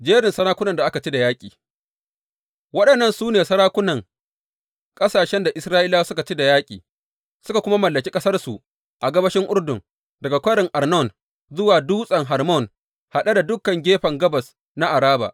Jerin sarakunan da aka ci da yaƙi Waɗannan su ne sarakunan ƙasashen da Isra’ilawa suka ci da yaƙi, suka kuma mallaki ƙasarsu a gabashin Urdun, daga kwarin Arnon zuwa Dutsen Hermon haɗe da dukan gefen gabas na Araba.